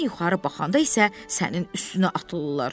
sən yuxarı baxanda isə sənin üstünə atılırlar.